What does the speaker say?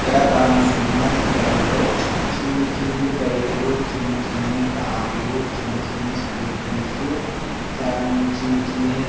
ఇక్కడ కానొస్తున చిత్తరంలో చిన్ని చిన్ని బైకులు చిన్ని చిన్ని కార్లు చిన్ని చిన్ని స్కూటీసు చాన్ చిన్ని చిన్ని--